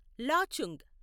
Lachung